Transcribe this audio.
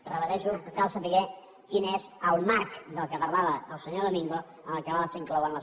ho repeteixo cal saber quin és el marc de què parlava el senyor domingo en el qual s’inclouen les vegueries